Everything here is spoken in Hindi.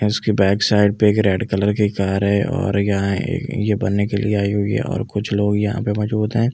उसके बेक साइड पे एक रेड कलर की कार है और यहां ये ये बनने के लिए आई हुई है और कुछ लोग यहां पे मौजूद है ऐ --